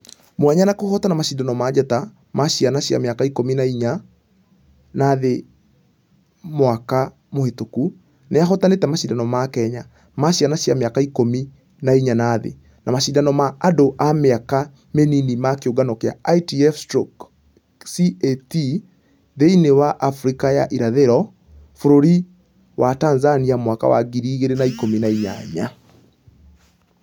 Mwanya na kũhotana mashidano ma njata ma ciana cia mĩaka ikũmi na inya na thĩ mwaka mũhĩtũku, nĩ ahotanĩte mashidano ma kenya...ma ciana cia mĩaka ikũmi na inya na thĩ . Na mashidano ma andũ a mĩka mĩnini ma kĩũngano gĩa ITF/CAT thĩinĩ wa africa ya irathĩro bũrũri wa tanzania mwaka wa ngiri igĩrĩ na ikũmi na inyanya.